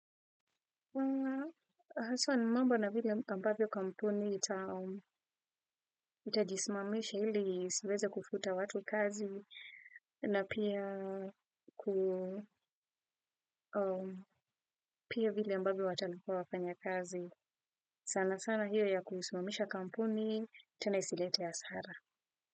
Aswa ni mambo na vile ambavyo kampuni itajismamisha ili isiweze kufuta watu kazi na pia kuu pia vile ambavyo watalipa wafanya kazi sana sana hiyo ya kusimamisha kampuni tena isilete hasara.